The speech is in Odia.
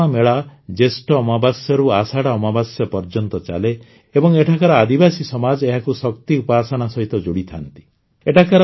ମାରିଦମ୍ମା ମେଳା ଜ୍ୟେଷ୍ଠ ଅମାବାସ୍ୟାରୁ ଆଷାଢ଼ ଅମାବାସ୍ୟା ପର୍ଯ୍ୟନ୍ତ ଚାଲେ ଏବଂ ଏଠାକାର ଆଦିବାସୀ ସମାଜ ଏହାକୁ ଶକ୍ତି ଉପାସନା ସହିତ ଯୋଡ଼ିଥାନ୍ତି